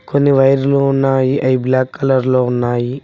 కొన్ని వైర్లు ఉన్నాయి అయి బ్లాక్ కలర్ లో ఉన్నాయి.